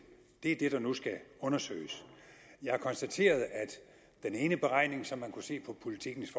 det er det der nu skal undersøges jeg har konstateret at den ene beregning som man kunne se på politikens